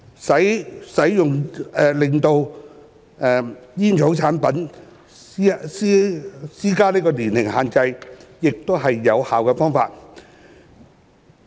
就使用煙草產品施加年齡限制，亦是有效的方法。